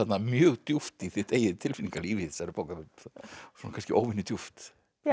mjög djúpt í þitt eigið tilfinningalíf í þessari bók svona kannski óvenju djúpt